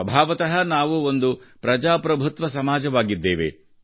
ಸ್ವಭಾವತಃ ನಾವು ಒಂದು ಪ್ರಜಾಪ್ರಭುತ್ವ ಸಮಾಜವಾಗಿದ್ದೇವೆ